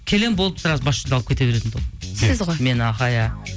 келемін болды сразу бас жүлде алып кете беретін тұғынмын сіз ғой мен аха иә